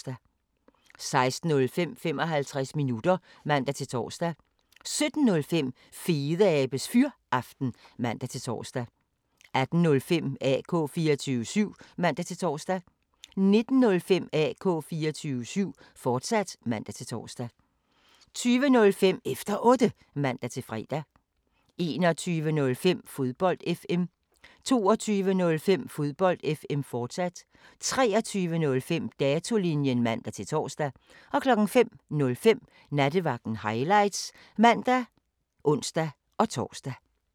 16:05: 55 minutter (man-tor) 17:05: Fedeabes Fyraften (man-tor) 18:05: AK 24syv (man-tor) 19:05: AK 24syv, fortsat (man-tor) 20:05: Efter Otte (man-fre) 21:05: Fodbold FM 22:05: Fodbold FM, fortsat 23:05: Datolinjen (man-tor) 05:05: Nattevagten Highlights (man og ons-tor)